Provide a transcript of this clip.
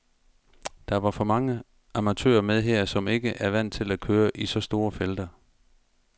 Der var for mange amatører med her, som ikke er vant til at køre i så store felter.